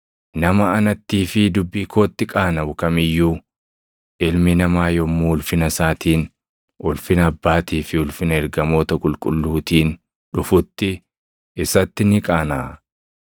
Nama anattii fi dubbii kootti qaanaʼu kam iyyuu Ilmi Namaa yommuu ulfina isaatiin, ulfina Abbaatii fi ulfina ergamoota qulqulluutiin dhufutti isatti ni qaanaʼa.